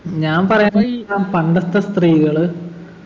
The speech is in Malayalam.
ഞാൻ പറയുന്ന പണ്ടത്തെ സ്ത്രീകള്